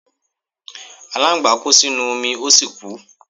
Aláǹgbá kó sínú omi ó sì kú.